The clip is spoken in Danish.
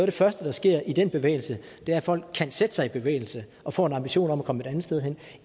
det første der sker i den bevægelse er at folk kan sætte sig i bevægelse og får en ambition om at komme et andet sted hen